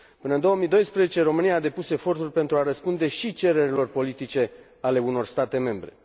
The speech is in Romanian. Până în 2012, România a depus eforturi pentru a răspunde și cererilor politice ale unor state membre.